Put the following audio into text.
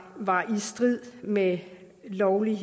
var i strid med loven